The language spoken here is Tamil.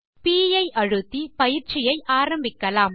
ப் ஐ அழுத்தி பயிற்சியை ஆரம்பிக்கலாம்